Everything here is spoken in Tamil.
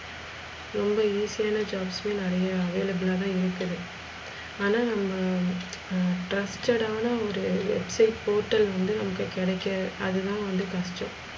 ரொம்ப easy யான jobs யே நெறைய available தான் இருக்குது ஆனா நம்ம ஹம் trusted ஆனா ஒரு potel வந்து நமக்கு கிடைக்க அது தான் வந்து கஷ்டம்.